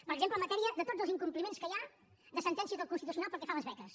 per exemple en matèria de tots els incompliments que hi ha de sentències del constitucional pel que fa a les beques